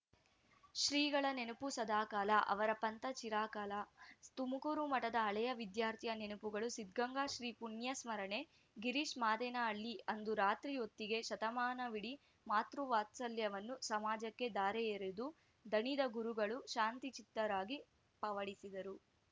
ಶ್ರೀಗಳ ನೆನಪು ಸದಾಕಾಲ ಅವರ ಪಂಥ ಚಿರಕಾಲ ತುಮಕೂರು ಮಠದ ಹಳೆ ವಿದ್ಯಾರ್ಥಿಯ ನೆನಪುಗಳು ಸಿದ್ಧಗಂಗಾ ಶ್ರೀ ಪುಣ್ಯ ಸ್ಮರಣೆ ಗಿರೀಶ್‌ ಮಾದೇನಹಳ್ಳಿ ಅಂದು ರಾತ್ರಿ ಹೊತ್ತಿಗೆ ಶತಮಾನವಿಡೀ ಮಾತೃ ವಾತ್ಸಲ್ಯವನ್ನು ಸಮಾಜಕ್ಕೆ ಧಾರೆಯೆರೆದು ದಣಿದ ಗುರುಗಳು ಶಾಂತಚಿತ್ತರಾಗಿ ಪವಡಿಸಿದರು